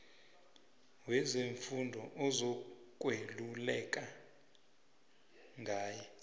wezefundo ozokweluleleka kanye